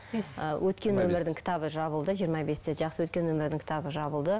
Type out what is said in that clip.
өткен өмірдің кітабы жабылды жиырма бесте жақсы өткен өмірдің кітабы жабылды